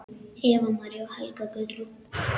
Eva María og Helga Guðrún.